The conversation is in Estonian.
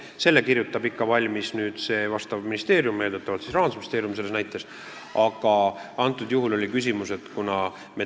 Selle kirjutab valmis ikka vastav ministeerium, selle näite puhul eeldatavalt Rahandusministeerium.